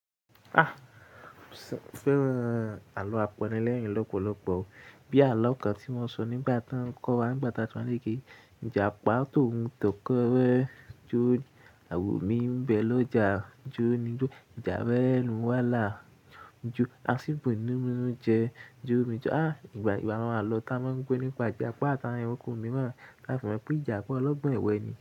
Ah! Mo fẹ́ran àlọ́ apẹrẹ lẹ́yìn lọ́pọ̀lọpọ̀ o. Bí àlọ́ kan tí mo sọ nígbà tí wọ́n ń kọ́ wa nígbà tá a ti wà níge. Ìjàpá tòun tọkọ rẹ jó, àwò mí ń bẹ lọ já a jó ni jó. Ìjàwé ẹnu wá là jó, a sì bọ inú jẹ jó mi jọ. Ah! Ìgbà máa alọ tá a máa ń pé nípa Ìjàpá tàbí ẹranko mìíràn. Láti fi mọ̀ pé Ìjàpá ọlọ́gbọ́n èwé ni.